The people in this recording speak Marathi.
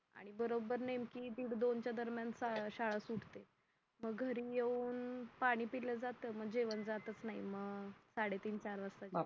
आणि बरोबर नेमकी दीड दोन च्या दरम्यान शाळा सुटते मग घरी येऊन पाणी पिलं जात मग जेवण जातच नाय म साडेतीन चार वासता जेवते